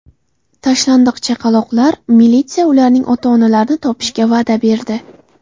Tashlandiq chaqaloqlar: Militsiya ularning ota-onalarini topishga va’da berdi .